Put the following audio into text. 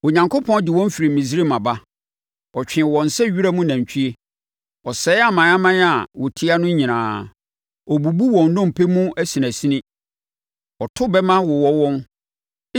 “Onyankopɔn de wɔn firi Misraim aba; ɔtwee wɔn sɛ wiram nantwie. Ɔsɛe amanaman a wɔtia no nyinaa, ɔbubu wɔn nnompe mu asinasini, ɔto bɛmma wowɔ wɔn.